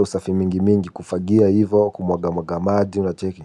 Usafi mingi mingi kufagia hivo kumwaga mwaga maji unacheki.